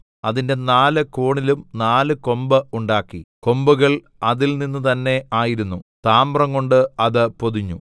അതിന്റെ നാല് കോണിലും നാല് കൊമ്പ് ഉണ്ടാക്കി കൊമ്പുകൾ അതിൽനിന്ന് തന്നെ ആയിരുന്നു താമ്രംകൊണ്ട് അത് പൊതിഞ്ഞു